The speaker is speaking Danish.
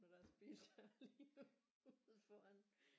Deres biler lige ude foran